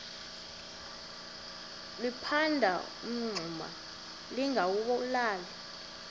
liphanda umngxuma lingawulali